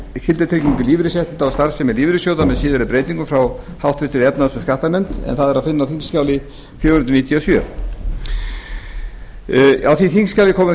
skyldutryggingu lífeyrisréttinda og starfsemi lífeyrissjóða með síðari breytingum frá háttvirtri efnahags og skattanefnd en það er að finna á þingskjali fjögur hundruð níutíu og sjö á því þingskjali